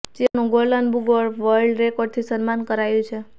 તેઓનું golden book of world રેકોર્ડથી સન્માન કરાયું છે